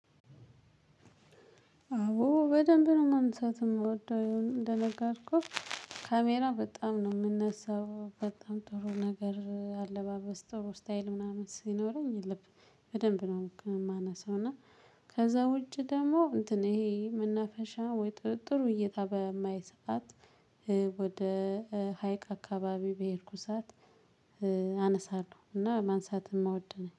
አዎ በደንብ ነው ማንሳት የምወደው ያው እንደነገርኩህ ካሜራ በጣም ነው የምነሳው በጣም ጥሩ ነገር አለባበስ ጥሩ ስታይል ምናምን ሲኖረኝ ልብ በደንብ ነው የማነሳው። እና ከዛ ውጪ ደግሞ እንትን ይሄ መናፈሻ ወይ ጥሩ እይታ በማይ ሰዓት ወደ ሀይቅ አካባቢ በሄድኩ ሰዓት አነሳለሁ። እና ማንሳትም አወዳለሁ